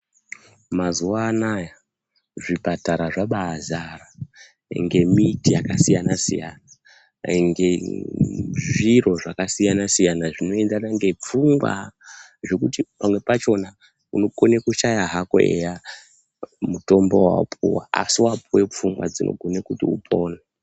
Mazuva anawa zvipatara zvabazara ngemiti yakasiyana siyana kwainge zviro zvakasiyana siyana zvinongana nepfungwa kuti pamwe pachona unokona kudhaya hako eya mutombo Wawapuwa asi wapuwa pfungwa dzinokona kuti upone.